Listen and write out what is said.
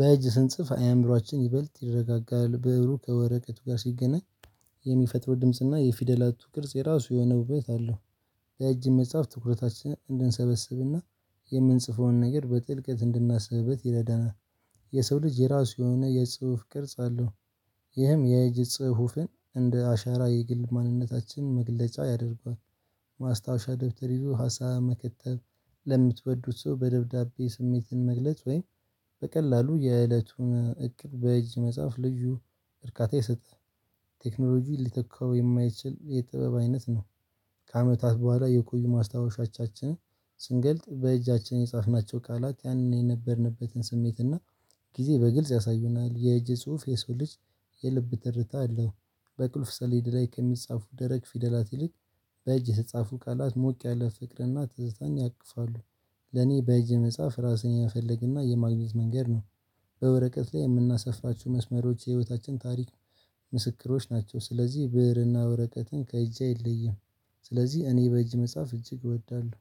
በእጅ ስንጽፍ አእምሮአችን ይበልጥ ይረጋጋል ብዕሩ ከወረቀቱ ጋር ሲገናኝ። የሚፈጥረው ድምጽና የፊደላቱ ቅርጽ የራሱ የሆነ ውበት አለው። በእጅ መጻፍ ትኩረታችንን እንድንሰበስብና የምንጽፈውን ነገር በጥልቀት እንድናስብበት ይረዳናል። የሰው ልጅ የራሱ የሆነ የጽሁፍ ቅርጽ አለው። ይህም የእጅ ጽሁፍን እንደ አሻራ የግል ማንነታችን መግለጫ ያደርገዋል። ማስታወሻ ደብተር ይዞ ሀሳብ መከተብ። ለምትወዱት ሰው በደብዳቤ ስሜትን መግለጽ ወይም? በቀላሉ የእለቱን እቅድ በእጅ መጻፍ ልዩ እርካታ ይሰጣል። ቴክኖሎጂ ሊተካው የማይችል የጥበብ አይነት ነው። ከአመታት በኋላ የቆዩ ማስታወሻዎቻችንን ስንገልጥ በእጃችን የጻፍናቸው ቃላት ያንን የነበርንበትን ስሜትና ጊዜ በግልጽ ያሳዩናል። የእጅ ጽሁፍ የሰው ልጅ የልብ ትርታ አለው። በቁልፍ ሰሌድ ላይ ከሚጻፉ ደረቅ ፊደላት ይልቅ በእጅህ የተጻፉ ቃላት ሞቅ ያለ ፍቅርና ትዝታን ያቅፋሉ። ለኔ በእጅ የመጽሐፍ ራስን የመፈለግና የማግኘት መንገድ ነው። በወረቀት ላይ የምናሰፍራችሁ መስመሮች የህይወታችን ታሪክ ምስክሮች ናቸው። ስለዚህ ብእርና ወረቀትን ከእጄ አይለይም። ስለዚህ እኔ በእጅ መጻፍ እጅግ እወዳለሁ